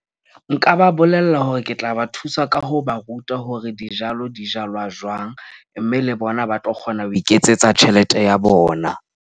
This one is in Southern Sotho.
Nka ba bolella hore ke tla ba thusa ka ho ba ruta hore dijalo di jalwa jwang, mme le bona ba tlo kgona ho iketsetsa tjhelete ya bona.